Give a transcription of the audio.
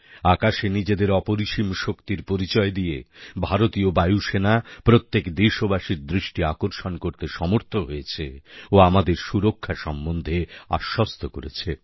আকাশে নিজেদের অপরিসীম শক্তির পরিচয় দিয়ে ভারতীয় বায়ুসেনা প্রত্যেক দেশবাসীর দৃষ্টি আকর্ষণ করতে সমর্থ হয়েছে ও আমাদের সুরক্ষা সম্বন্ধে আশ্বস্ত করেছে